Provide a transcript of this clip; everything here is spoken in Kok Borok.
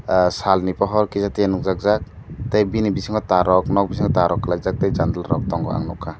ahh sal ni pohor kisa tia nuk jak jak tei bini bisingo tar rok nok bisingo tar rok kalaijak tei janala rok tongo ang nugkha.